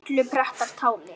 illu pretta táli